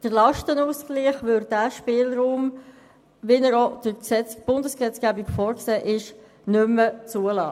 Der Lastenausgleich, wie er auch durch die Bundesgesetzgebung vorgesehen ist, würde diesen Spielraum nicht mehr zulassen.